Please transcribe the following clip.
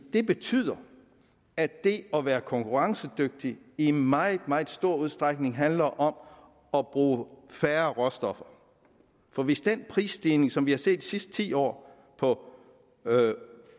det betyder at det at være konkurrencedygtig i meget meget stor udstrækning handler om at bruge færre råstoffer for hvis den prisstigning fortsætter som vi har set de sidste ti år på